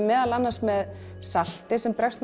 meðal annars með salti sem bregst